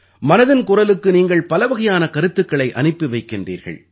மனதின் குரலுக்கு நீங்கள் பலவகையான கருத்துக்களை அனுப்பி வைக்கின்றீர்கள்